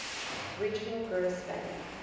regional gross value